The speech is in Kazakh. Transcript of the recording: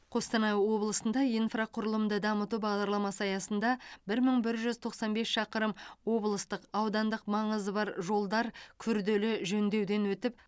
қостанай облысында инфрақұрылымды дамыту бағдарламасы аясында бір мың бір жүз тоқсан бес шақырым облыстық аудандық маңызы бар жолдар күрделі жөндеуден өтіп